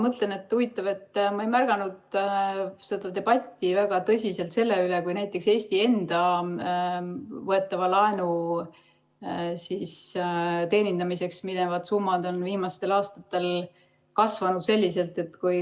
Jaa, huvitav, ma ei ole märganud väga tõsist debatti selle üle, et näiteks Eesti enda võetava laenu teenindamiseks minevad summad on viimastel aastatel kasvanud.